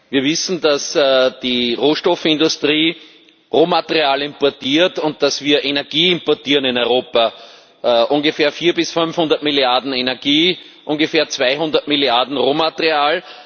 Wir wissen, dass die Rohstoffindustrie Rohmaterial importiert und dass wir Energie importieren in Europa, ungefähr 400 bis 500 Milliarden Energie, ungefähr 200 Milliarden Rohmaterial.